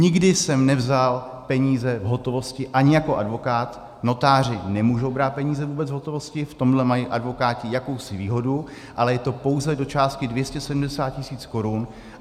Nikdy jsem nevzal peníze v hotovosti, ani jako advokát, notáři nemůžou brát peníze vůbec v hotovosti, v tomhle mají advokáti jakousi výhodu, ale je to pouze do částky 270 tisíc korun.